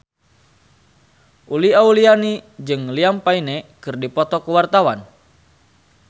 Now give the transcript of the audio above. Uli Auliani jeung Liam Payne keur dipoto ku wartawan